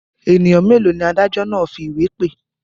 Ènìyàn mélòó ni adájọ́ náà fi ìwé pè?